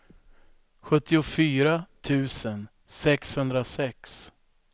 sjuttiofyra tusen sexhundrasex